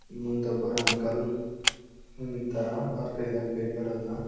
ಅಲ್ ಮುಂದ್ ಒಬ್ಬುರ್ ಅಂಕಲ್ ನಿಂತಾರ ಅವರ್ ಕೈದಾಗ್ ಪೇಪರ್ ಅದ.